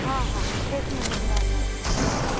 हा, हा. तेच म्हणून राहिली.